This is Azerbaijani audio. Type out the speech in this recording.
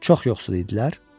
Çox yoxsul idilər?